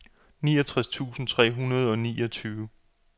niogtres tusind tre hundrede og niogtyve